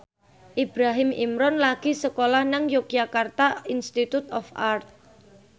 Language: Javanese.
Ibrahim Imran lagi sekolah nang Yogyakarta Institute of Art